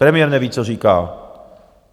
Premiér neví, co říká.